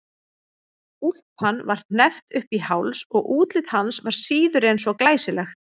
Úlpan var hneppt upp í háls og útlit hans var síður en svo glæsilegt.